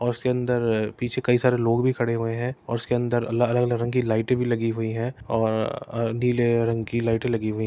और उसके अंदर पीछे कई सारे लोग भी खड़े हुए हैं और उसके अंदर अल अलग-अलग रंग की लाइटे भी लगी हुई हैं और र अ नीले रंग की लाइटे लगी हुई --